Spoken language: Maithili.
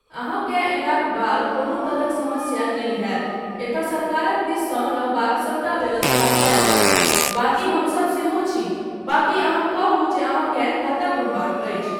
अहाँकेँ अयलाक बाद कोनो तरहक समस्या नहि होयत, एतय सरकारक दिससँ रहबाक सबटा व्यवस्था कयल छै, बाकि हमसब सेहो छी, बाकी अहाँ कहू जे अहाँकेँ कतय घुमबाक अछि।